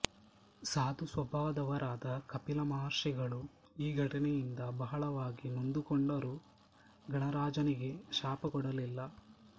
ಸಾಧು ಸ್ವಭಾವದವರಾದ ಕಪಿಲ ಮಹರ್ಷಿಗಳು ಈ ಘಟನೆಯಿಂದ ಬಹಳವಾಗಿ ನೊಂದುಕೊಂಡರೂ ಗಣರಾಜನಿಗೆ ಶಾಪ ಕೊಡಲಿಲ್ಲ